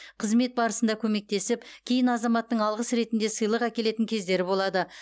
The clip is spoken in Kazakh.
қызмет барысында көмектесіп кейін азаматтың алғыс ретінде сыйлық әкелетін кездері болады